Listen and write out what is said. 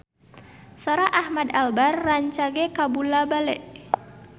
Sora Ahmad Albar rancage kabula-bale